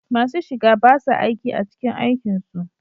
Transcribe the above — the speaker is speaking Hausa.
Masu shiga ba sa aiki a cikin aikin su